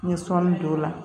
N ye sɔnni don o la